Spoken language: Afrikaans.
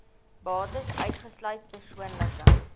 bates uitgesluit persoonlike